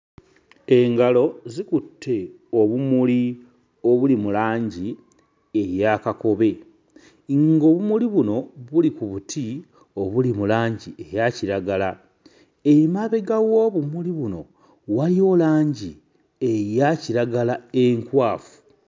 Engalo zikutte obumuli obuli mu langi eya kakobe ng'obumuli buno buli ku buti obuli mu langi eya kiragala. Emabega w'obumuli buno wayiwo langi eya kiragala enkwafu.